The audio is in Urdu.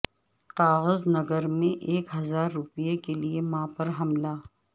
کاغذ نگر میں ایک ہزار روپیہ کیلئے ماں پر حملہ